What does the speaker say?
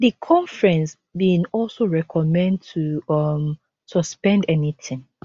di conference bin also recommend to um suspend anytin